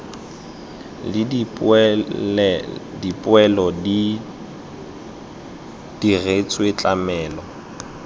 le dipoelo di diretswe tlamelo